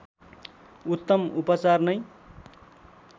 उतम उपचार नै